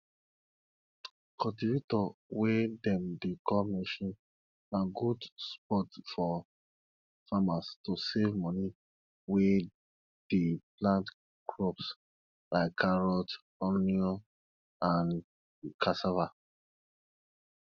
cultivator wey dem dey call machine na good spot for farmers to save money wey dey plant crops like carrot onion and cassava